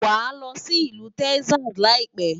Wàá lọ sí ìlú Texas láìpẹ́.